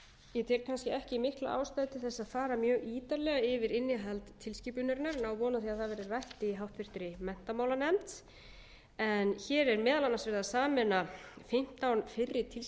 tel kannski ekki mikla ástæðu til að fara mjög ítarlega yfir innihald tilskipunarinnar en á von á að það verði rætt í háttvirtri menntamálanefnd en hér er meðal annars verið að sameina fimmtán fyrri tilskipanir um